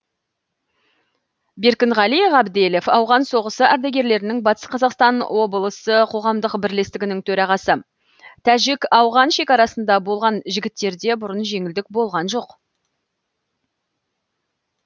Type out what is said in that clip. беркінғали ғабделов ауған соғысы ардагерлерінің батыс қазақстан облысы қоғамдық бірлестігінің төрағасы тәжік ауған шекарасында болған жігіттерде бұрын жеңілдік болған жоқ